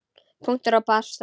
Punktur og basta.